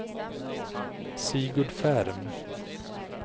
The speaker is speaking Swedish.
Sigurd Ferm